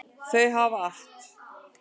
Þau hafa allt.